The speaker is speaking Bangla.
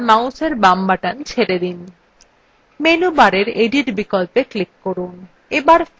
menu bar edit বিকল্পে click করুন bar fill বিকল্পে click করুন